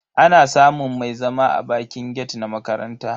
Ana samun mai zama a bakin gate na makaranta.